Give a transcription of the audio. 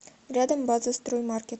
рядом база строймаркет